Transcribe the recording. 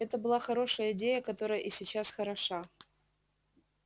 это была хорошая идея которая и сейчас хороша